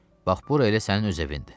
Bax bura elə sənin öz evindir.